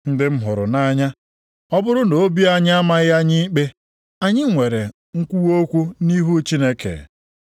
Ndị m hụrụ nʼanya, ọ bụrụ na obi anyị amaghị anyị ikpe, anyị nwere nkwuwa okwu nʼihu Chineke